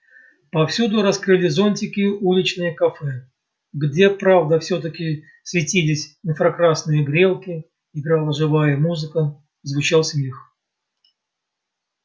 повсюду раскрыли зонтики уличные кафе где правда всё-таки светились инфракрасные грелки играла живая музыка звучал смех